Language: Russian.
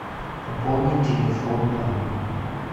пополнить телефон папы